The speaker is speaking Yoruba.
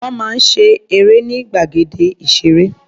Wọ́n máa ń ṣe eré ní gbàgede ìṣeré.